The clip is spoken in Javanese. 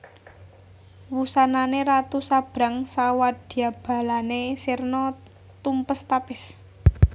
Wusanane ratu sabrang sawadyabalane sirna tumpes tapis